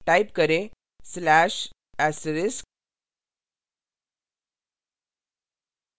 type करें/*